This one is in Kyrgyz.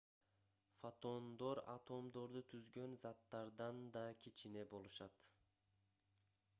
фотондор атомдорду түзгөн заттардан да кичине болушат